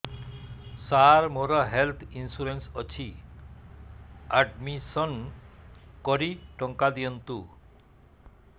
ସାର ମୋର health insurance ଅଛି admission କରି ଟଙ୍କା ଦିଅନ୍ତୁ